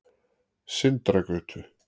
Sindragötu